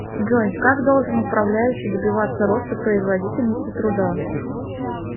джой как должен управляющий добиваться роста производительности труда